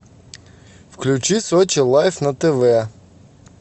включи сочи лайв на тв